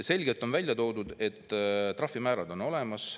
Selgelt on välja toodud, et trahvimäärad on olemas.